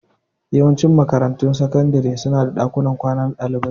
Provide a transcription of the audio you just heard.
Yawancin makarantun sakandare su na da ɗakunan kwana na ɗalibai